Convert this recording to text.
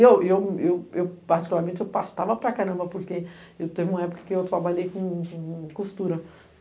E eu, particularmente, eu pastava para caramba, porque teve uma época que eu trabalhei com costura.